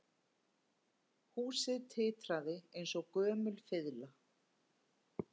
Húsið titraði eins og gömul fiðla